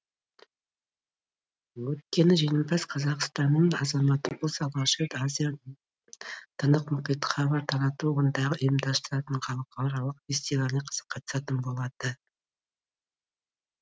өйткені жеңімпаз қазақстанның азаматы болса алғаш рет азия тынық мұхиттық хабар тарату одағы ұйымдастыратын халықаралық фестиваліне қатысатын болады